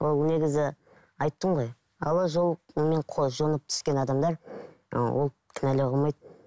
ол негізі айттым ғой жонып түскен адамдар ы ол кінәлауға болмайды